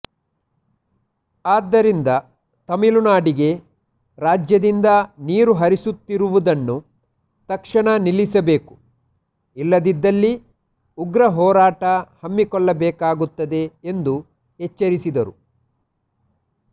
ಆದ್ದರಿಂದ ತಮಿಳುನಾಡಿಗೆ ರಾಜ್ಯದಿಂದ ನೀರು ಹರಿಸುತ್ತಿರುವುದನ್ನು ತಕ್ಷಣ ನಿಲ್ಲಿಸಬೇಕು ಇಲ್ಲದಿದ್ದಲ್ಲಿ ಉಗ್ರ ಹೊರಾಟ ಹಮ್ಮಿ ಕೊಳ್ಳಬೇಕಾಗುತ್ತದೆ ಎಂದು ಎಚ್ಚರಿಸಿದರು